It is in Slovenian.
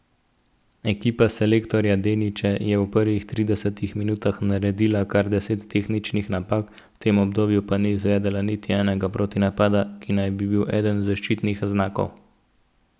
Ekipa selektorja Deniča je v prvih tridesetih minutah naredila kar deset tehničnih napak, v tem obdobju pa ni izvedla niti enega protinapada, ki naj bi bili eden zaščitnih znakov.